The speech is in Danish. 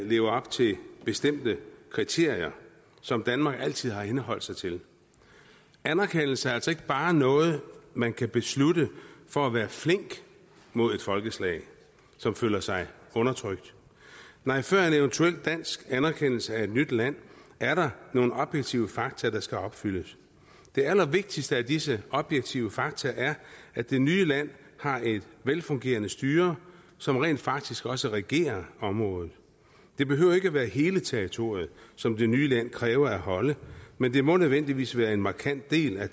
lever op til bestemte kriterier som danmark altid har henholdt sig til anerkendelse er altså ikke bare noget man kan beslutte for at være flink mod et folkeslag som føler sig undertrykt nej før en eventuel dansk anerkendelse af et nyt land er der nogle objektive fakta som skal opfyldes det allervigtigste af disse objektive fakta er at det nye land har et velfungerende styre som rent faktisk også regerer området det behøver ikke være hele territoriet som det nye land kræver at holde men det må nødvendigvis være en markant del af